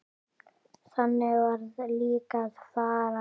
Þannig varð líka að fara.